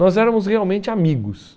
Nós éramos realmente amigos.